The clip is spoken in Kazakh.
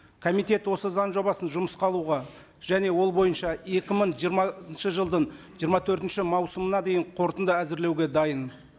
комитет осы заң жобасын жұмысқа алуға және ол бойынша екі мың жиырмасыншы жылдың жиырма төртінші маусымына дейін қорытынды әзірлеуге дайын